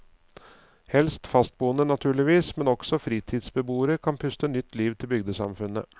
Helst fastboende, naturligvis, men også fritidsbeboere kan puste nytt liv til bygdesamfunnet.